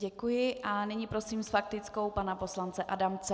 Děkuji a nyní prosím s faktickou pana poslance Adamce.